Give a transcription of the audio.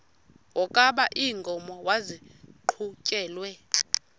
wokaba iinkomo maziqhutyelwe